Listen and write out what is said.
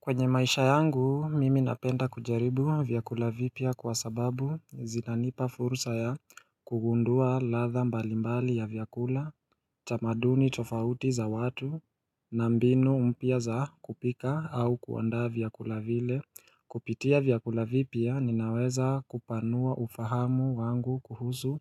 Kwenye maisha yangu, mimi napenda kujaribu vyakula vipya kwa sababu zinanipa fursa ya kugundua ladha mbalimbali ya vyakula, tamaduni tofauti za watu, na mbinu mpya za kupika au kuandaa vyakula vile. Kupitia vyakula vipya, ninaweza kupanua ufahamu wangu kuhusu